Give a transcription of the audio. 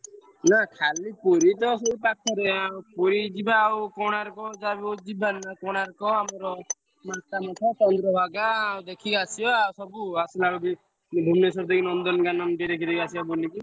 ନା ଖାଲି ପୁରୀ ତ ସେଇ ପା~ ଖରେ~ ଆଉ ପୁରୀ ଯିବା ଆଉ କୋଣାର୍କ ଯାହାବି ହଉ ଯିବାନି ନା କୋଣାର୍କ ଆମର ଲୋକନାଥ, ଚନ୍ଦ୍ରଭାଗା ଦେଖି ଆସିବା ଆଉ ସବୁ ଆସିଲାବେଳକୁ ଭୁବନେଶ୍ବର ଦେଇ ନନ୍ଦନକାନନ ଟିକେ ଦେଖି ଦେଇ ଆସିଆ ବୁଲିକି।